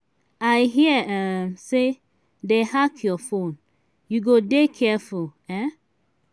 i hear um say dey hack your phone. you go dey careful. um